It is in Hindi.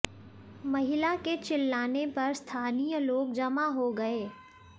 महिला के चिल्लाने पर स्थानीय लोग जमा हो गए